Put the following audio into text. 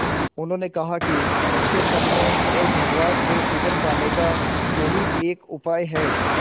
उन्होंने कहा कि उनके सदमे और घबराहट से उबर पाने का यही एक उपाय है